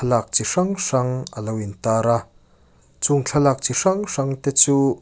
lâk chi hrang hrang a lo intâr a chung thlalâk chi hrang hrangte chu.